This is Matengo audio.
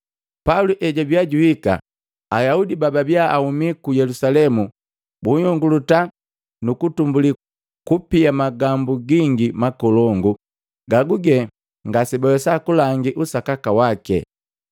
Pauli ejwabia juhika, Ayaudi bababiya ahuma ku Yelusalemu buyonguluta nukutumbuli kupia magambu gingi makolongu gaguge ngasebawesa kulangi usakaka wake.